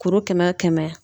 Kuru kɛmɛ o kɛmɛ